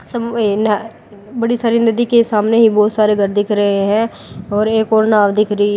बड़ी सारी नदी के सामने ही बहोत सारे घर दिख रहे हैं और एक और नाव दिख रही--